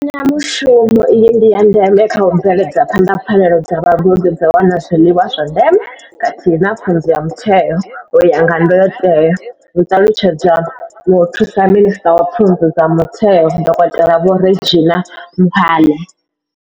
Mbekanyamushumo iyi ndi ya ndeme kha u bveledza phanḓa pfanelo dza vhagudi dza u wana zwiḽiwa zwa ndeme khathihi na pfunzo ya mutheo u ya nga ndayotewa, hu ṱalutshedza muthusa minisṱa wa pfunzo dza mutheo, dokotela Vho Reginah Mhaule.